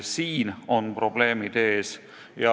Siin on probleemid.